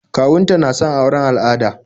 Kawun ta na son auren al'ada